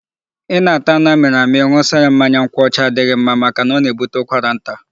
Ị na-ata anụ a mịrị amị ṅụsa ya mmanya nkwọcha adịghị ma maka na'o na-ebute ụkwara nta'.